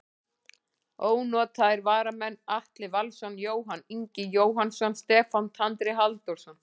Ónotaðir varamenn: Atli Valsson, Jóhann Ingi Jóhannsson, Stefán Tandri Halldórsson.